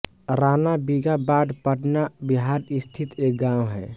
रानाबीघा बाढ पटना बिहार स्थित एक गाँव है